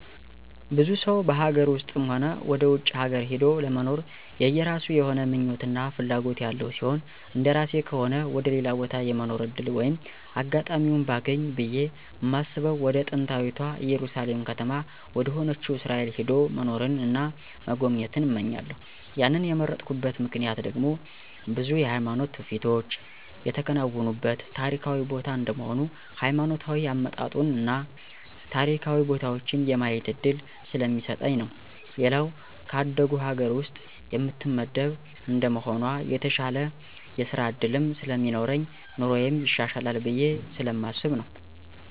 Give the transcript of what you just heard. ብዙ ሰው በሀገር ውስጥም ሆነ ወደ ውጭ ሀገር ሂዶ ለመኖር የየራሱ የሆነ ምኞት እና ፍላጎት ያለው ሲሆን እንደራሴ ከሆነ ወደ ሌላ ቦታ የመኖር ዕድል ወይም አጋጣሚውን ባገኝ ብየ ማስበው ወደ ጥንታዊታ እየሩሳሌም ከተማ ወደሆነችው እስራኤል ሄዶ መኖርን እና መጎብኘት እመኛለሁ ያንን የመረጥኩበት ምክንያት ደግሞ ብዙ የሃይማኖት ትውፊቶች የተከናወኑበት ታሪካዊ ቦታ እንደመሆኑ ሀይማኖታዊ አመጣጡን እና ታሪካዊ ቦታዎችን የማየት እድል ስለሚሰጠኝ ነው። ሌላው ከአደጉ ሀገር ውስጥ የምትመደብ እንደመሆኗ የተሻለ የስራ ዕድልም ስለሚኖረኝ ኑሮየም ይሻሻላል ብየ ስለማስብ ነው።